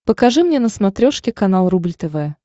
покажи мне на смотрешке канал рубль тв